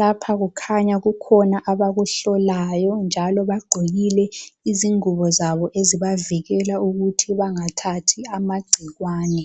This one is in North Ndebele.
lapha kukhanya kukhona abakuhlolayo njalo bagqokile izingubo zabo ezibavikela ukuthi bangathathi amagcikwane.